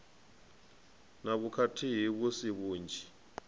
na vhukhakhi vhu si vhunzhi